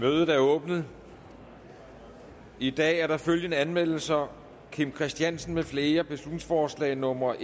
mødet er åbnet i dag er der følgende anmeldelser kim christiansen med flere beslutningsforslag nummer